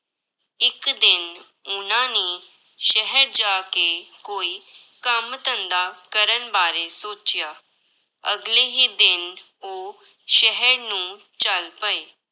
ਇੱਕ ਦਿਨ ਉਹਨਾਂ ਨੇ ਸ਼ਹਿਰ ਜਾ ਕੇ ਕੋਈ ਕੰਮ ਧੰਦਾ ਕਰਨ ਬਾਰੇ ਸੋਚਿਆ, ਅਗਲੇ ਹੀ ਦਿਨ ਉਹ ਸ਼ਹਿਰ ਨੂੰ ਚੱਲ ਪਏ।